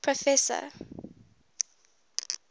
professor